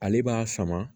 Ale b'a sama